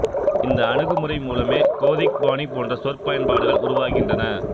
இந்த அணுகுமுறை மூலமே கோதிக் பாணி போன்ற சொற் பயன்பாடுகள் உருவாகின்றன